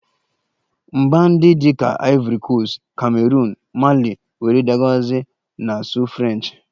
Mba ndị dị ka ivori koast, kameroon, Mali wdg na-asụ French